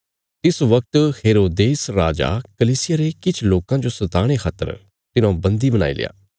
तिस बगत हेरोदेस राजा कलीसिया रे किछ लोकां जो सताणे खातर तिन्हौं बन्दी बणाईल्या